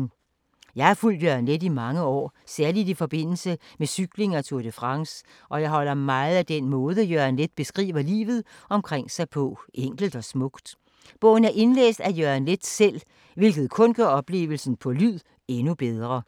Jeg har fulgt Jørgen Leth i mange år, særligt i forbindelse med cykling og Tour de France, og jeg holder meget af den måde Jørgen Leth beskriver livet omkring sig på, enkelt og smukt. Bogen er indlæst af Jørgen Leth selv, hvilket kun gør oplevelsen på lyd endnu bedre.